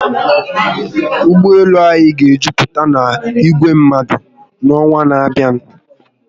Ụgbọelu anyị ga ejuputa na igwe mmadu n'ọnwa n'abịa